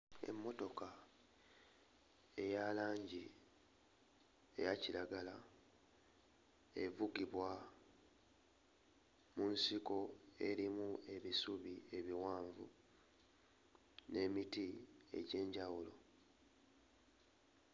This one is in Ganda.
Emmotoka eya langi eya kiragala evugibwa mu nsiko erimu ebisubi ebiwanvu n'emiti egy'enjawulo.